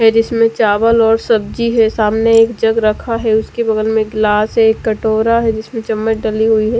है जिसमे चावल और सब्जी है सामने एक जग रखा है उसके बगल में ग्लास है कटोरा है जिसमे चम्मच डली हुई है।